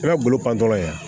I ka bolo pan tɔ la yan